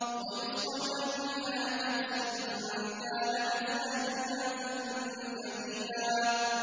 وَيُسْقَوْنَ فِيهَا كَأْسًا كَانَ مِزَاجُهَا زَنجَبِيلًا